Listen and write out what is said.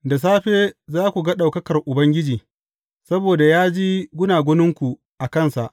Da safe za ku ga ɗaukakar Ubangiji, saboda ya ji gunaguninku a kansa.